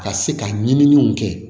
Ka se ka ɲininiw kɛ